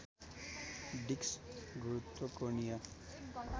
disk गुरुत्व कोणीय